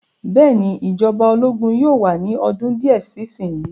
Bẹ́ẹ̀ ni, ìjọba ológun yóò wà ní ọdún díẹ̀ sí ìsìn yìí.